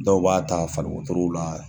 Dɔw b'a ta faliwotorow la.